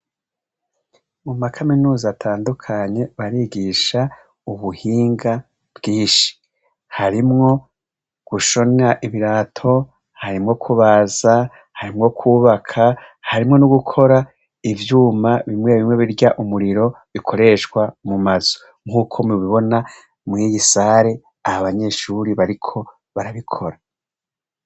Mu makaminuza atandukanye barigisha ubuhinga bwinshi, harimwo gushona ibirato, harimwo kubaza, harimwo kwubaka, harimwo n'ugukora ivyuma bimwe bimwe birya umuriro bikoreshwa mu mazu, nk'uko mubibona mweye i sare aha abanyeshuri bariko barabikora.